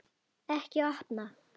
Ekki opna